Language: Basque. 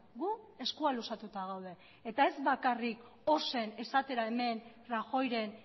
gu eskua luzatuta gaude eta ez bakarrik ozen esatera hemen rajoyren